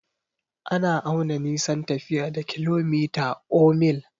Ana auna nisan tafiya da kilomita or mil.